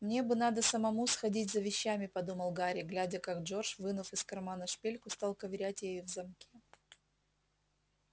мне бы надо самому сходить за вещами подумал гарри глядя как джордж вынув из кармана шпильку стал ковырять ею в замке